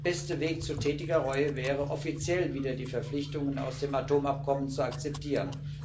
Der beste Weg zu tätiger Reue wäre, offiziell wieder die Verpflichtungen aus dem Atomabkommen zu akzeptieren.